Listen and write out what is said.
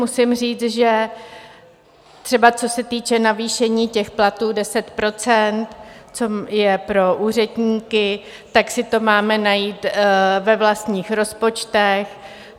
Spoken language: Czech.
Musím říct, že třeba co se týče navýšení těch platů 10 %, co je pro úředníky, tak si to máme najít ve vlastních rozpočtech.